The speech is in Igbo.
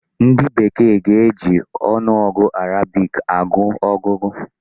Ndị bekee ga-eji ọnụọgụ Arabic agụ ọgụgụ.